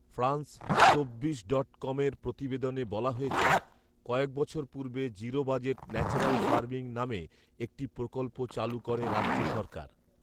France চব্বিশ dot কমের প্রতিবেদনে বলা হয়েছে, কয়েকবছর পূর্বে ‘জিরো বাজেট ন্যাচারাল ফার্মিং’ নামে একটি প্রকল্প চালু করে রাজ্য সরকার